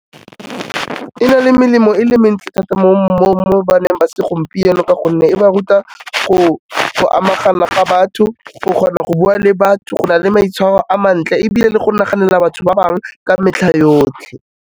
E na le melemo e le mentsi thata mo baneng ba segompieno ka gonne e ba ruta go amagana ga batho, o kgona go bua le batho, go na le maitshwaro a mantle ebile le go naganela batho ba bangwe ka metlha yotlhe.